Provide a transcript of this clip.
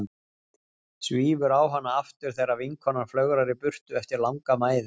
Svífur á hana aftur þegar vinkonan flögrar í burtu eftir langa mæðu.